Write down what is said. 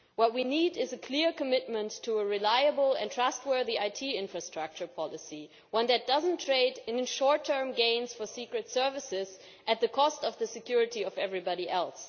What we need is a clear commitment to a reliable and trustworthy IT infrastructure policy, one that does not trade in short term gains for secret services at the cost of the security of everybody else.